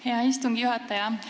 Hea istungi juhataja!